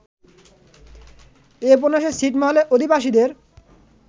এ উপন্যাসে ছিটমহলের অধিবাসীদের